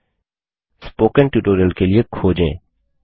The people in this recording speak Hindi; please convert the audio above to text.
स्पोकेन ट्यूटोरियल के लिए खोजें